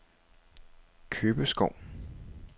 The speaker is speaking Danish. Købeskov